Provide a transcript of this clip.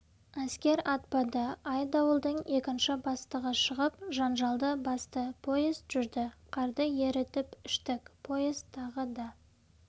әскер атпады айдауылдың екінші бастығы шығып жанжалды басты поезд жүрді қарды ерітіп іштік поезд тағы да